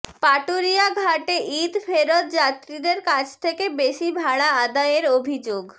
পাটুরিয়াঘাটে ঈদ ফেরত যাত্রীদের কাছ থেকে বেশি ভাড়া আদায়ের অভিযোগ